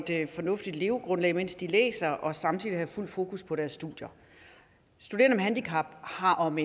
et fornuftigt levegrundlag mens de læser og samtidig have fuld fokus på deres studier studerende med handicap har om